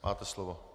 Máte slovo.